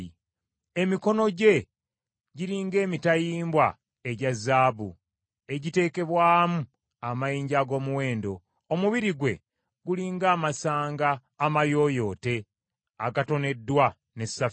Emikono gye giri ng’emitayimbwa egya zaabu egiteekebwamu amayinja ag’omuwendo. Omubiri gwe guli ng’amasanga amayooyote agatoneddwa ne safiro.